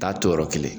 Taa to yɔrɔ kelen